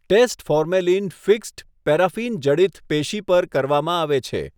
Test formalin fixed, paraffin જડિત પેશી પર કરવામાં આવે છે.